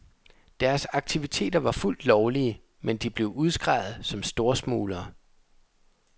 Deres aktiviteter var fuldt lovlige, men de blev udskreget som storsmuglere.